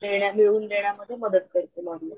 देण्या मिळवून देण्या मध्ये मदत करते लॉरिअल.